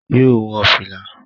Yóò wọ fìlà